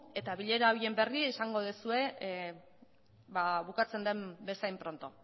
eta bilera horien berri izango duzue bukatzen den bezain pronto